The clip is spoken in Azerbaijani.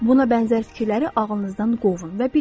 Buna bənzər fikirləri ağlınızdan qovun və bilin.